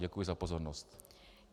Děkuji za pozornost.